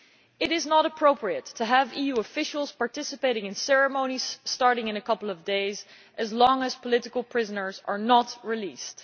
It is not appropriate to have EU officials participating in ceremonies starting in a couple of days, so long as political prisoners are not released.